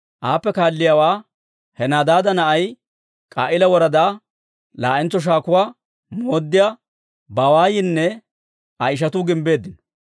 Aappe kaalliyaawaa Henadaada na'ay, K'a'iila woradaa laa'entso shaakuwaa mooddiyaa Bawaayinne Aa ishatuu gimbbeeddino.